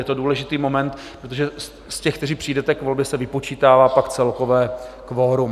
Je to důležitý moment, protože z těch, kteří přijdete k volbě, se vypočítává pak celkové kvorum.